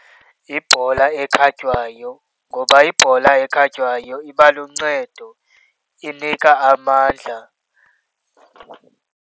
Yibhola ekhatywayo. Ngoba ibhola ekhatywayo iba luncedo, inika amandla.